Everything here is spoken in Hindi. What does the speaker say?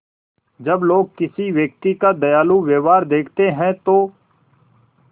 जब लोग किसी व्यक्ति का दयालु व्यवहार देखते हैं तो